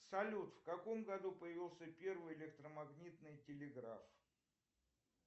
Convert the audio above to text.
салют в каком году появился первый электромагнитный телеграф